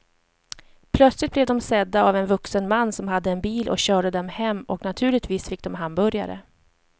Plötsligt blev de sedda av en vuxen man som hade en bil och körde dem hem och naturligtvis fick de hamburgare.